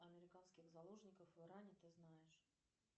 американских заложников в иране ты знаешь